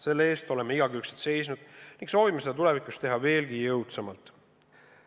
Selle eest oleme igakülgselt seisnud ning soovime seda tulevikus teha veelgi jõudsamalt.